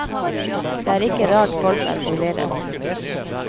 Det er ikke rart folk er forvirret.